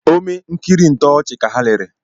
Ome nkiri ntọọchi ka ha lere